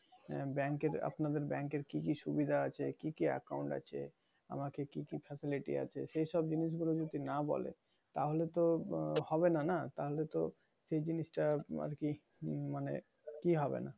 আহ bank এর আপনাদের bank এর কি কি সুবিধা আছে? কি কি account আছে? আমাকে কি কি facility আছে? সেই সব জিনিস গুলো যদি না বলে। তাহলে তো আহ হবে না না? তাহলে তো সে জিনিশটা আরকি মানে ইয়ে হবে না।